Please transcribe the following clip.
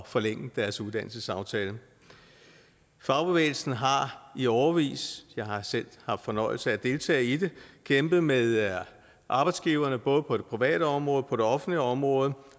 forlænge deres uddannelsesaftale fagbevægelsen har i årevis jeg har selv haft fornøjelsen af at deltage i det kæmpet med arbejdsgiverne både på det private område og på det offentlige område